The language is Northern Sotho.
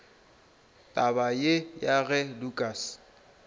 taba ye ya ge lukas